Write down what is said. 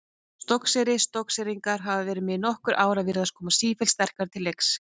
Stokkseyri Stokkseyringar hafa verið með í nokkur ár og virðast koma sífellt sterkari til leiks.